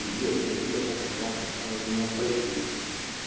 E ali, ali, ali, ali, olha os nomes, então eu não aparecia.